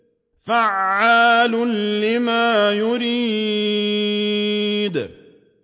فَعَّالٌ لِّمَا يُرِيدُ